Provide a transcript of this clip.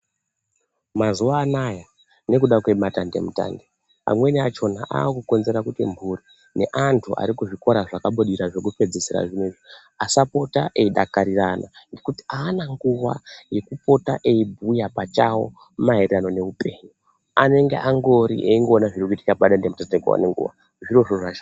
Mazuwa anaya nekuda kwematendemutande amweni achona akukonzera kuti mhuri neanhu arikuzvikora zvakabudirira zvekupedzisira zvinoizvi asapota eidakariirana ngekuti aana nguwa yekupota eibhuya pachawo maererano neupenyu anenge angori eingoona zvirikuitika padandemutande nguwa nenguwa.